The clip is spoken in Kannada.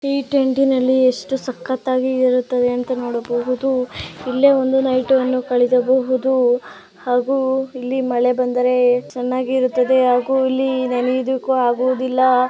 ಈ ಟೆಂಟಿನಲ್ಲಿ ಎಷ್ಟು ಸಕ್ಕತ್ತಾಗಿ ಇರುತ್ತವೆ ಅಂತ ನೋಡಬಹುದು ಇಲ್ಲಿ ಒಂದು ನೈಟ್ ಅನ್ನು ಕಳೆಯಬಹುದು ಹಾಗು ಇಲ್ಲಿ ಮಳೆ ಬಂದರೆ ಚೆನ್ನಾಗಿ ಇರುತ್ತದೆ ಹಾಗೂ ಇಲ್ಲಿ ನೆನೆಯುವುದಕ್ಕೂ ಆಗುವುದಿಲ್ಲ .